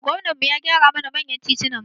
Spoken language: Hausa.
Gwamnan mu ya gyara mana manyan titunan mu